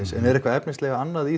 en er eitthvað efnislega annað í